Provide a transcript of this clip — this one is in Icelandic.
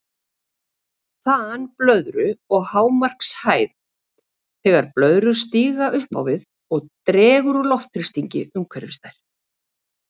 Þan blöðru og hámarkshæð Þegar blöðrur stíga upp á við dregur úr loftþrýstingi umhverfis þær.